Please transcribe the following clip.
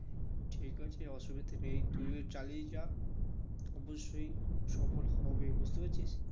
ঠিক আছে অসুবিধা নেই তুইও চালিয়ে যা অবশ্যই সফল হবে বুঝতে পেরেছিস